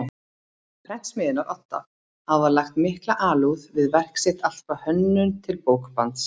Prentsmiðjunnar Odda hafa lagt mikla alúð við verk sitt allt frá hönnun til bókbands.